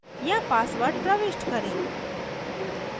यहाँ password प्रविष्ट करें